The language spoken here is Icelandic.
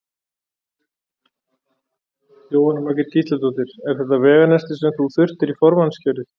Jóhanna Margrét Gísladóttir: Er þetta veganestið sem þú þurftir í formannskjörið?